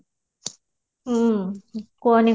ହୁଁ କୁହନି